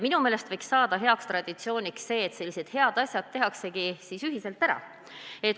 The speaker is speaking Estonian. Minu meelest võiks saada heaks traditsiooniks, et sellised head asjad tehaksegi ühiselt ära.